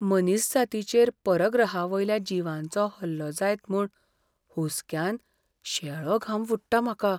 मनीसजातीचेर परग्रहावयल्या जिवांचो हल्लो जायत म्हूण हुसक्यान शेळो घाम फुट्टा म्हाका.